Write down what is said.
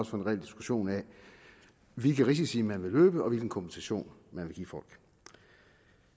få en reel diskussion af hvilke risici man vil løbe og hvilken kompensation man vil give folk